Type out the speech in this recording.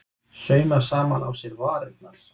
Sauma saman á sér varirnar